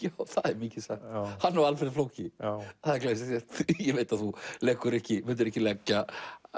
það er mikið sagt hann og Alfreð flóki já það er glæsilegt ég veit að þú myndir ekki leggja